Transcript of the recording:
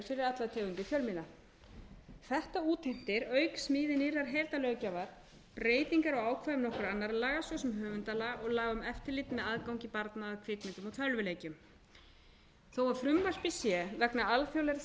allar tegundir fjölmiðla þetta útheimtir auk smíði nýrrar heildarlöggjafar breytingar á ákvæðum nokkurra annarra laga svo sem höfundalaga og laga um eftirlit með aðgangi barna að kvikmyndum og tölvuleikjum þó að frumvarpið sé vegna alþjóðlegra